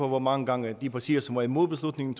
hvor mange gange de partier som var imod beslutningen